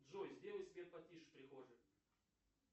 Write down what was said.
джой сделай свет потише в прихожей